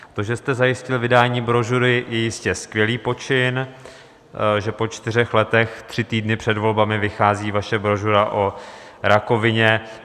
To, že jste zajistil vydání brožury, je jistě skvělý počin, že po čtyřech letech tři týdny před volbami vychází vaše brožura o rakovině.